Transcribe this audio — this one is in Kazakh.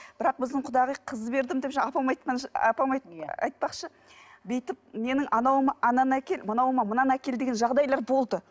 бірақ біздің құдағи қыз бердім деп жаңағы апам апам айтпақшы бүйтіп менің анауыма ананы әкел мынауыма мынаны әкел деген жағдайлар болды